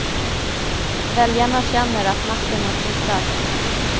Väljarna känner att makten har flyttat.